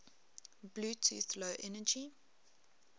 bluetooth low energy